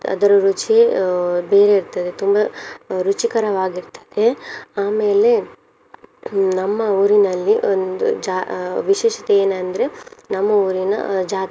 ರುಚಿಯೇ ಅಹ್ ಬೇರೆ ಇರ್ತದೆ ತುಂಬ ರುಚಿಕರವಾಗಿರ್ತದೆ. ಆಮೇಲೆ ನಮ್ಮ ಊರಿನಲ್ಲಿ ಒಂದು ಜಾ~ ವಿಶೇಷತೆ ಏನಂದ್ರೆ ನಮ್ಮ ಊರಿನ ಜಾತ್ರೆ.